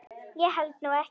Ég held nú ekki!